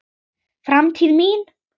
Framtíð mín?